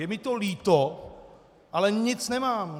Je mi to líto, ale nic nemám.